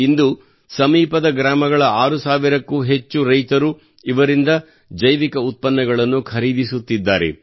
ಇಂದು ಸಮೀಪದ ಗ್ರಾಮಗಳ 6 ಸಾವಿರಕ್ಕೂ ಹೆಚ್ಚು ರೈತರು ಇವರಿಂದ ಜೈವಿಕ ಉತ್ಪನ್ನಗಳನ್ನು ಖರೀದಿಸುತ್ತಿದ್ದಾರೆ